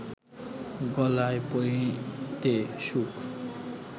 গলায় পরিতে সুখ